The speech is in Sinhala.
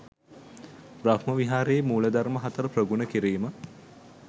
බ්‍රහ්ම විහාරයේ මූලධර්ම හතර ප්‍රගුණ කිරීම